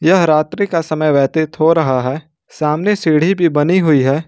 यह रात्रि का समय व्यतीत हो रहा है सामने सीढी भी बनी हुई है।